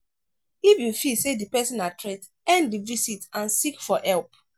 if you feel sey di person na threat end di visit and seek for help